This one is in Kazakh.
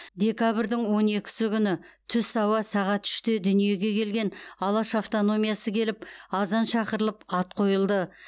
декабрьдің он екісі күні түс ауа сағат үште дүниеге келген алаш автономиясы келіп азан шақырылып ат қойылды